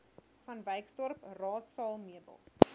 vanwyksdorp raadsaal meubels